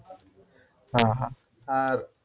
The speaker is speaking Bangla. হ্যাঁ হ্যাঁ আর